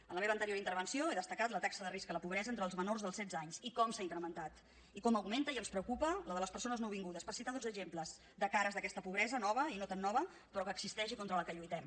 en la meva anterior intervenció he destacat la taxa de risc de la pobresa entre els menors de setze anys i com s’ha incrementat i com augmenta i ens preocupa la de les persones nouvingudes per citar dos exemples de cares d’aquesta pobresa nova i no tan nova però que existeix i contra la qual lluitem